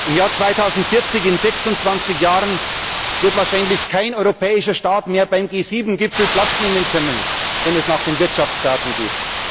Im Jahr 2040 in 26 Jahren wird wahrscheinlich kein europäischer Staat mehr beim G7 Gipfel Platz nehmen können, wenn es nach den Wirtschaftsdaten geht.